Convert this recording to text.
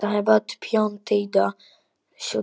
Ef til vill litirnir, svaraði baróninn.